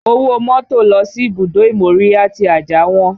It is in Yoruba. Owó mọ́tò lọ sí ibùdó ìmóríyá tí Ajah wọ́n